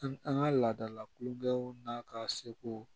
An an ka laadala kulukanw n'a ka seko